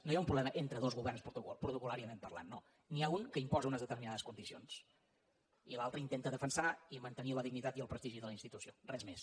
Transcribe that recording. no hi ha un problema entre dos governs protocolimposa unes determinades condicions i l’altre intenta defensar i mantenir la dignitat i el prestigi de la institució res més